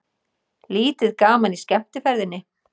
Lítið gaman í skemmtiferðinni